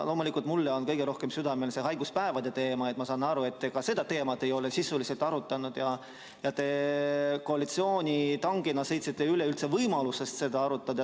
Loomulikult on mul kõige rohkem südamel see haiguspäevade teema, aga ma saan aru, et ka seda teemat ei ole te sisuliselt arutanud ja et koalitsioonitangina sõitsite üle võimalusest seda üldse arutada.